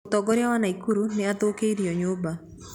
Mũtongoria wa Nakuru nĩ athũkĩirio nyũmba.